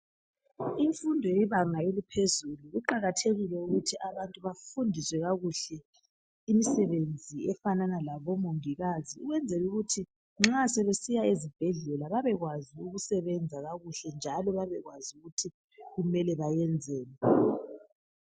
Imfundo yebanga eliphezulu kuqakathekile ukuthi abantu bafundiswe kakuhle imisebenzi efana leyabo mongikazi ukwenzela ukuthi nxa sebesiya ezibhedlela babekwazi ukusebenza kakuhle njalo babekwazi ukuthi kumele benzeni